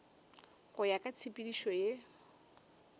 go ya ka tshepedišo ye